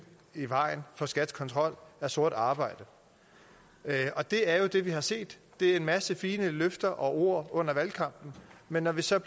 i vejen for skats kontrol af sort arbejde og det er jo det vi har set det er en masse fine løfter og ord under valgkampen men når vi så